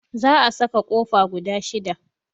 Zaa saka kofa guda 6.